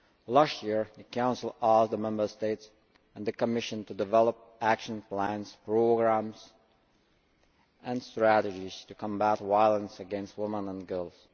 Last year, the Council asked the Member States and the Commission to develop action plans, programmes and strategies to combat violence against women and girls.